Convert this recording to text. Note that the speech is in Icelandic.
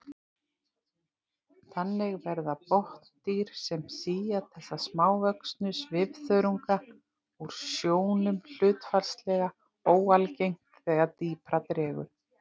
Þannig verða botndýr sem sía þessa smávöxnu svifþörunga úr sjónum hlutfallslega óalgeng þegar dýpra dregur.